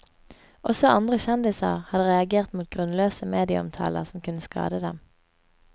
Også andre kjendiser hadde reagert mot grunnløse medieomtaler som kunne skade dem.